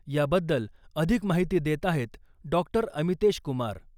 याबद्दल अधिक माहिती देत आहेत डॉ . अमितेश कुमार